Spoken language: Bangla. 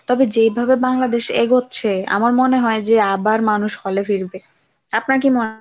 তবে যেভাবে বাংলদেশ এগোচ্ছে আমার মনে হয় আবার মানুষ hall এ ফিরবে। আপনার কি